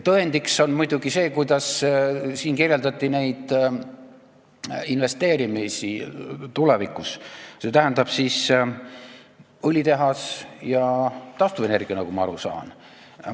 Tõendiks on muidugi see, kuidas siin kirjeldati investeerimist tulevikus, st õlitehase ja taastuvenergia investeeringuid, nagu ma aru sain.